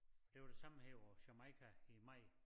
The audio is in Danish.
Det var det samme her på Jamaica i maj